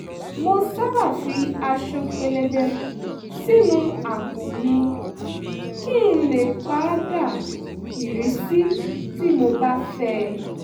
mo sábà fi aṣọ pẹ̀lẹbẹ sínú àpò mi kí n lè pa dà irísí tí mo bá fẹ́